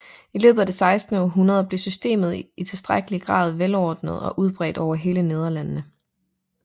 I løbet af det sekstende århundrede blev systemet i tilstrækkelig grad velordnet og udbredt over hele Nederlandene